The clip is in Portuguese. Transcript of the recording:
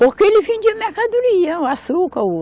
Porque ele vendia mercadoria, açúcar o